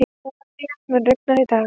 Úranía, mun rigna í dag?